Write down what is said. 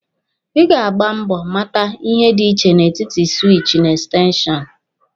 Ị ga agba mbọ mata ihe dị iche n'etiti siwichi na ekstenshọnụ.